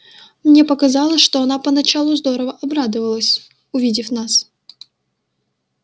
мне показалось что она поначалу здорово обрадовалась увидев нас